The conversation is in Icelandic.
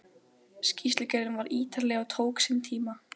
Skýrslugerðin var ítarleg og tók sinn tíma.